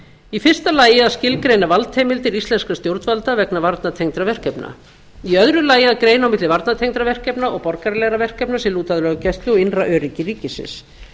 í fyrsta lagi að skilgreina valdheimildir íslenskra stjórnvalda vegna varnartengdra verkefna í öðru lagi að greina á milli varnartengdra verkefna og borgaralegra verkefna sem lúta að löggæslu og innra öryggi ríkisins